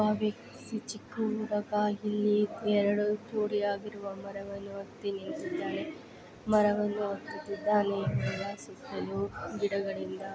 ಇಲ್ಲಿ ಒಂದು ಭಾವಿ ಈ ಚಿಕ್ಕು ಊರು ಇಲ್ಲಿ ಎರಡು ಜೋಡಿ ಆಗಿರುವ ಮರವಣ್ಣ ಒತ್ತಿ ನಿತಿದ್ದಾನೆ ಮರವನ್ನು ಹತ್ತೂತಿದ್ದಾನೆ ಸುತ್ತೆಲು ಗಿಡಗಳಿಂದ.